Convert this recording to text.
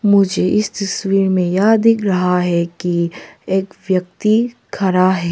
मुझे इस तस्वीर में यह दिख रहा है कि एक व्यक्ति खड़ा है।